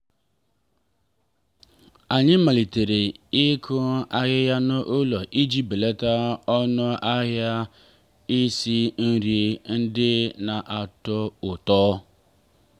anyị malitere ịkụ ahịhịa n'ụlọ iji belata ọnụ ahịa isi nri ndị na-atọ ụtọ.